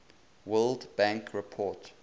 world bank report